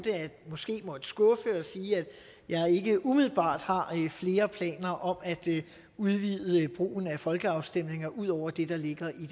måske at måtte skuffe og sige at jeg ikke umiddelbart har flere planer om at udvide brugen af folkeafstemninger ud over det der ligger